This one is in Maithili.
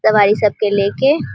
दवाई सब के लेके --